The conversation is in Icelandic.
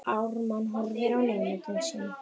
Ármann horfir á nemanda sinn.